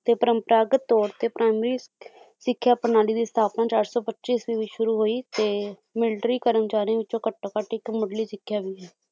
ਤੇ ਪਰੰਪਰਾਗਤ ਤੌਰ ਤੇ ਪ੍ਰਾਇਮਰੀ ਸਿੱਖਿਆ ਪ੍ਰਣਾਲੀ ਦੀ ਸਥਾਪਨਾ ਚਾਰ ਸੌ ਪੱਚੀ ਈਸਵੀ ਵਿੱਚ ਸ਼ੁਰੂ ਹੋਈ ਤੇ ਮਿਲਟਰੀ ਕਰਮਚਾਰੀਆਂ ਵਿੱਚੋ ਘੱਟੋ ਘੱਟ ਇੱਕ ਮੁੱਢਲੀ ਸਿੱਖਿਆ ਵੀ ਹੈ